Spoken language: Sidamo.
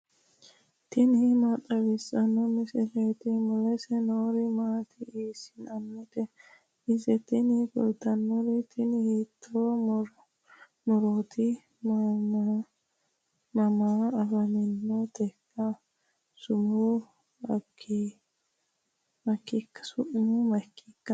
tini maa xawissanno misileeti ? mulese noori maati ? hiissinannite ise ? tini kultannori tini hiito murooti mamma afantannoteika su'ma maatikka ?